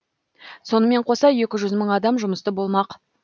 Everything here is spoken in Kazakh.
сонымен қоса екі жүз мың адам жұмысты болмақ